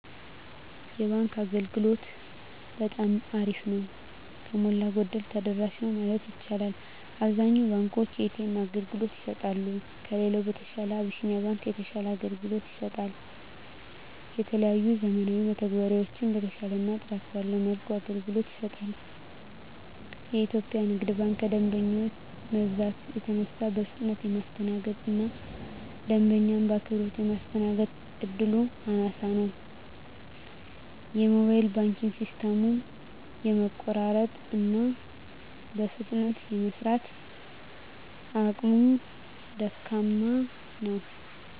የባንክ አገልግሎት በጠማ አሪፍ ነው። ከሞላ ጎደል ተደራሽ ነው ማለት ይቻላል። አብዛኛውን ባንኮች የኤ.ተ.ኤም አገልግሎት ይሰጣሉ። ከሌላው በተሻለ አብሲኒያ ባንክ የተሻለ አገልግሎት ይሰጣል። የተለያዩ ዘመናዊ መተግበሪያዎችን በተሻለና ጥራት ባለው መልኩ አገልግሎት ይሰጣል። ኢትዮጵያ ንግድ ባንክ ከደንበኛ መብዛት የተነሳ በፍጥነት የማስተናገድ እና ደንበኛ በአክብሮት ማስተናገድ እድሉ አናሳ ነው። የሞባይል ባንኪንግ ሲስተሙም የመቆራረጥ እና በፍጥነት የመስራት አቅሙ ደካማ ነው።